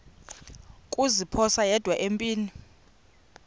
kuziphosa yedwa empini